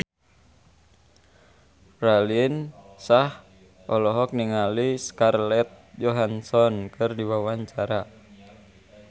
Raline Shah olohok ningali Scarlett Johansson keur diwawancara